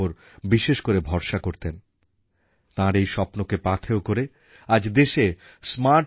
বিশ্ব অর্থনীতিতে ভারতের অবস্থান এখন এক উজ্জ্বল নক্ষত্রের মতো আর সবচেয়ে বেশি বিদেশী বিনিয়োগ অর্থাৎ এফডিআই ভারতবর্ষেই হচ্ছে